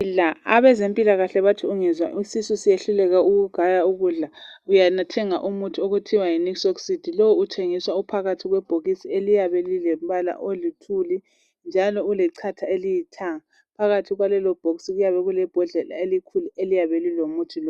Abezempilakahle bathi ungezwa isish sisehluleka ukugaya ukudla uyathenga umuthi okuthiwa yiNixocid. Lowu uthengiswa uphakathi kwebhokisi eliyabe lilombala oluthuli njalo ulechatha elilithanga. Phakathi kwalelo bhokisi kuyabe kulebhodlela elikhulu eliyabe lilomuthi lo.